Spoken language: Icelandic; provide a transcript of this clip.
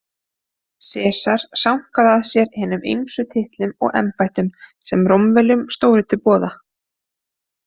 Sesar sankaði að sér hinum ýmsu titlum og embættum sem Rómverjum stóðu til boða.